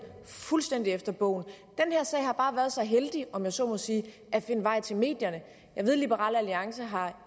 fuldstændig efter bogen den her sag har bare været så heldig om jeg så må sige at finde vej til medierne jeg ved at liberal alliance